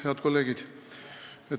Head kolleegid!